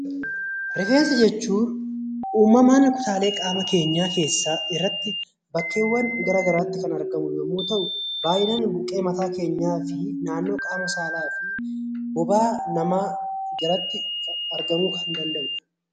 Rifeensa jechuun kutaalee qaama keenyaa keessaa tokko ta'ee bakkeewwan garaagaraatti kan argamu yoo ta'u, baay'inaan mataa keenyaa fi naannoo qaama saalaa , bobaa jalatti argamuu kan danda'udha